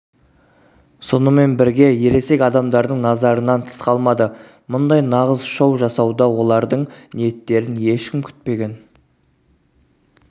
сонымен бірге ересек адамдардың назарынан тыс қалмады мұндай нағыз шоу жасауда олардың ниеттерін ешкім күтпеген